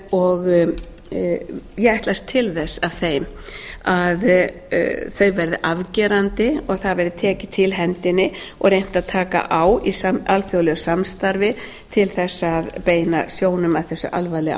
og ég ætlast til þess af þeim að þau verði afgerandi og það verði tekið til hendinni og reynt að taka á í alþjóðlegu samstarfi til þess að beina sjónum að þessu alvarlega